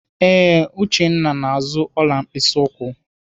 Ee, Uchenna na-azụ ọla mkpịsị ụkwụ.